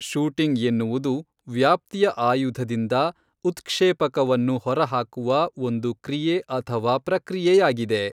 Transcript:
Shooting ಎನ್ನುವುದು ವ್ಯಾಪ್ತಿಯ ಆಯುಧದಿಂದ ಉತ್ಕ್ಷೇಪಕವನ್ನು ಹೊರಹಾಕುವ ಒಂದು ಕ್ರಿಯೆ ಅಥವಾ ಪ್ರಕ್ರಿಯೆಯಾಗಿದೆ.